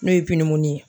N'o ye pinimin ye